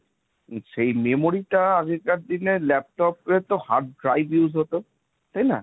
সেই memory টা আগেকার দিনে laptop এ তো hard drive use হতো, তাই না?